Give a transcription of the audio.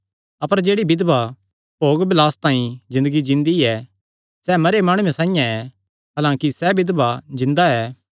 अपर जेह्ड़ी बिधवा भोग बलासे तांई ज़िन्दगी जींदी ऐ सैह़ मरेयो माणुये साइआं ऐ हलांकि सैह़ बिधवा जिन्दा ऐ